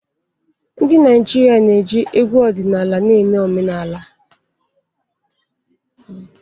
Ndị Naijiria na-eji egwu ọdịnala na-eme omenala.